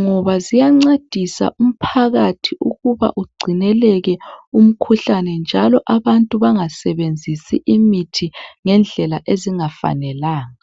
ngoba ziyancedisa umphakathi ukuba ungcineleke umkhuhlane njalo abantu bengasebenzisi imithi ngedlela engafanelanga.